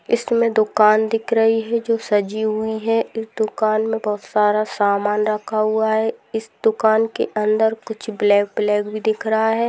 इसमे दुकान दिख रही है ओ सजी हुई है इस दुकान मे बोहोत सारा सामान रखा हुआ है इस दुकान के अंदर कुछ ब्लैक ब्लैक भी दिख रहा है।